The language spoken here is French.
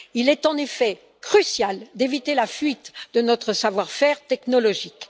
Il est en effet crucial d'éviter la fuite de notre savoir faire technologique.